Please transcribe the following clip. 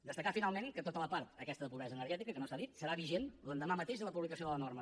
destacar finalment que tota la part aquesta de pobresa energètica que no s’ha dit serà vigent l’endemà mateix de la publicació de la norma